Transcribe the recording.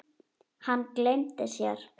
Hann gleymdi sér.